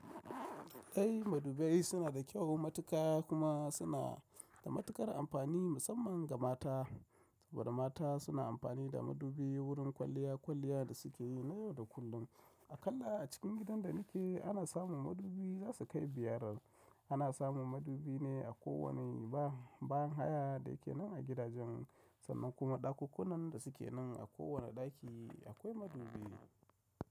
Ai madubai suna da kyau matuka kuma suna da matukar amfani musamman ga mata. Saboda mata suna amfani da madubi wurin kwalliya kwalliya da suke yi na yau da kullum. Akalla a cikin gidan da nike ana samun madubi zasu kai biyar. Ana samun madubi ne a kowane ba ban haya da yake nan a gidajen sannan kuma ɗakukunnan da suke nan a kowane ɗaki akwai madubi.